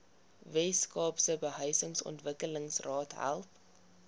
weskaapse behuisingsontwikkelingsraad help